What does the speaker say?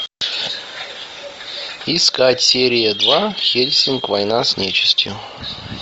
искать серия два хельсинг война с нечестью